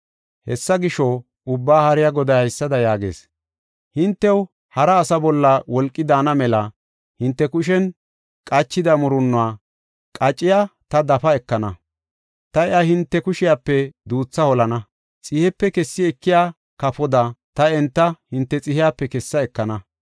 Hessa gisho, Ubbaa Haariya Goday haysada yaagees: “Hintew hara asaa bolla wolqi daana mela hinte kushen qachida murunnuwa qacciya ta dafa ekana. Ta iya hinte kushiyape duutha holana; xihepe kessi ekiya kafoda ta enta hinte xihiyape kessa ekana.